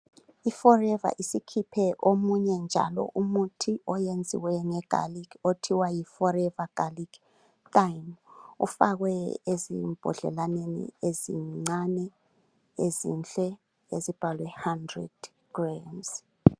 I forever isikhiphe omunye njalo umuthi oyenziwe nge garlic othiwa yi forever garlic kanye ufakwe ezimbodlelaneni ezincane ezinhle ezibhalwe hundred grams.